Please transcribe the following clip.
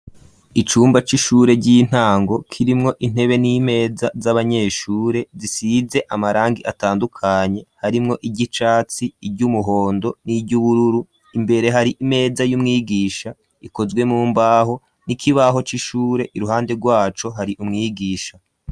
Icumba c'ishure ry'intango ,kirimwo intebe n'imeza z'abanyeshure ,zisize amarangi atandukanye, harimwo iryicatsi, iry'umuhondo, n'iry'ubururu ,imbere hari imeza y'umwigisha, ikozwe mu mbaho, n'ikibaho c'ishure iruhande rwacu hari umwigisha.